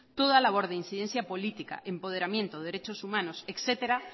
toda labor de incidencia política empoderamiento derechos humanos etcétera